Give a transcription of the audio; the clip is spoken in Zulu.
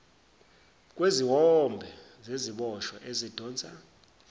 kweziwombe zeziboshwa ezidonsa